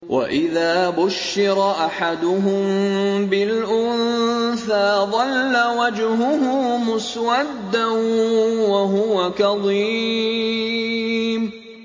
وَإِذَا بُشِّرَ أَحَدُهُم بِالْأُنثَىٰ ظَلَّ وَجْهُهُ مُسْوَدًّا وَهُوَ كَظِيمٌ